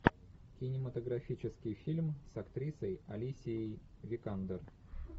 кинематографический фильм с актрисой алисией викандер